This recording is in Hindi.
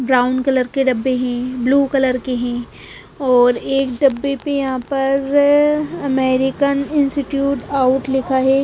ब्राउन कलर के डब्बे हैं ब्लू कलर के हैंऔर एक डब्बे पे यहां पर अमेरिकन इंस्टिट्यूट आउट लिखा है।